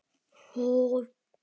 heldur frúin áfram.